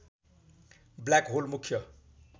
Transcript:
black hole मुख्य